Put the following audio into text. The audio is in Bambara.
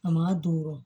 A man ka don